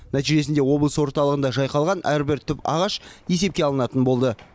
нәтижесінде облыс орталығында жайқалған әрбір түп ағаш есепке алынатын болды